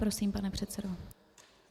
Prosím, pane předsedo.